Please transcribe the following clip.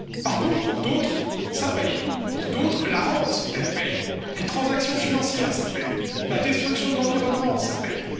Par contre, pour d'autres, il paie. Pour d'autres, la rente paie, les transactions financières paient, la destruction de l'environnement paie.